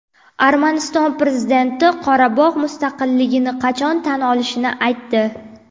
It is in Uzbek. Armaniston prezidenti Qorabog‘ mustaqilligini qachon tan olishini aytdi.